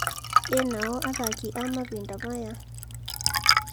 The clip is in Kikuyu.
Ĩ nao athaki a mahinda maya?